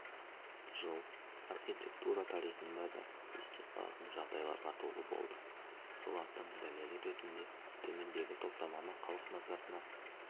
жыл архитектура тарихында да есте қалатын жағдайларға толы болды солардың дәлелі ретінде төмендегі топтаманы халық назарына